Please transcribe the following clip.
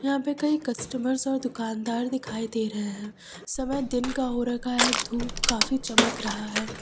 यहां पे कई कस्टमर्स और दुकानदार दिखाई दे रहे हैं समय दिन का हो रखा है धूप काफी चमक रहा है।